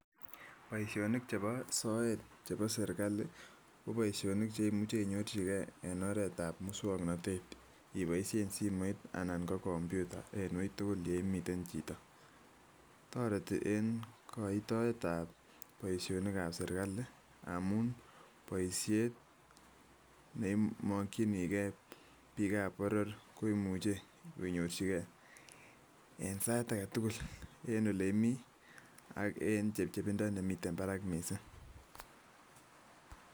Boishonik cheboo soet cheboo sirikali koboishonik cheimuche inyorchikee en oreetab muswoknotet iboishen simoit anan ko kompyuta en uitukul yeimiten chito, toreti en koitoetab boishonikab sirikali amuun boishet neimokyinikee biikab boror koimuche konyorchikee en sait aketug'ul en olee imii ak en chebchebindo nemiten barak mising.